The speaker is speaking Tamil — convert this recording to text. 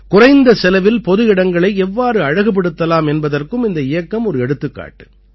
குறைந்த செலவில் பொதுவிடங்களை எவ்வாறு அழகுபடுத்தலாம் என்பதற்கும் இந்த இயக்கம் ஒரு எடுத்துக்காட்டு